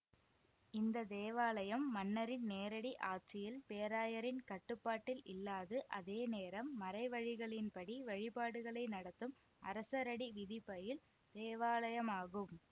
இந்த தேவாலயம் மன்னரின் நேரடி ஆட்சியில் பேராயரின் கட்டுப்பாட்டில் இல்லாது அதேநேரம் மறைவழிகளின்படி வழிபாடுகளை நடத்தும் அரசரடி விதிபயில் தேவாலயமாகும்